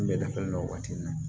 N bɛ da fɛn dɔ la waati min na